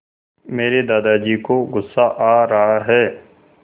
मेरे दादाजी को गुस्सा आ रहा है